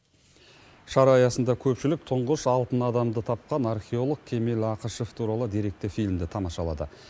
шара аясында көпшілік тұңғыш алтын адамды тапқан археолог кемел ақышев туралы деректі фильмді тамашалады